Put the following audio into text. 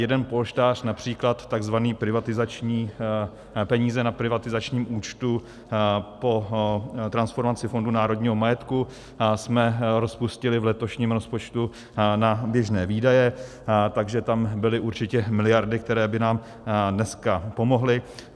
Jeden polštář, například tzv. peníze na privatizačním účtu po transformaci Fondu národního majetku, jsme rozpustili v letošním rozpočtu na běžné výdaje, takže tam byly určitě miliardy, které by nám dneska pomohly.